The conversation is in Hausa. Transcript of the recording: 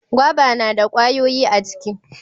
gwaba na da ƙwayoyi a ciki